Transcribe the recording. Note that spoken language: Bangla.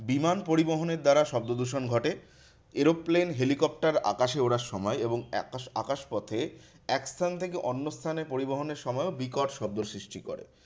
বিমান পরিবহনের দ্বারা শব্দদূষণ ঘটে। aeroplane helicopter আকাশে ওড়ার সময় এবং আকা~ আকাশপথে এক স্থান থেকে অন্য স্থানে পরিবহনের সময়ও বিকট শব্দ সৃষ্টি করে।